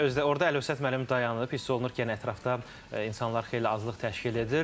Özü də orda Əlövsət müəllim dayanıb, hiss olunur ki, yəni ətrafda insanlar xeyli azlıq təşkil edir.